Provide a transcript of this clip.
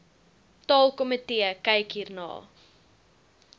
taalkomitee kyk hierna